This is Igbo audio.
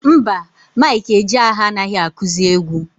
Mba, Mike Ejeagha anaghị akụzị egwu.